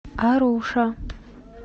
аруша